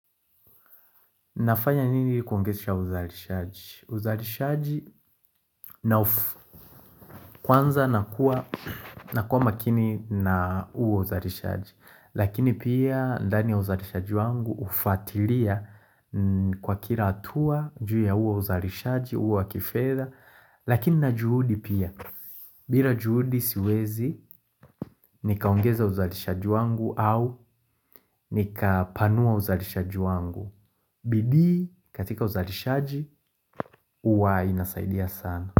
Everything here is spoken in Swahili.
Nafanya nini kuongesha uzalishaji? Uzalishaji na kwanza nakuwa makini na huo uzalishaji. Lakini pia ndani ya uzalishaji wangu ufwatilia kwa kila hatua juu ya huo uzalishaji, huo wa kifedha. Lakini na juhudi pia. Bila juhudi siwezi nikaongeza uzalishaji wangu au nikapanua uzalishaji wangu. Bidii katika uzalishaji huwa inasaidia sana.